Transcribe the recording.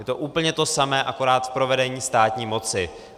Je to úplně to samé, akorát v provedení státní moci.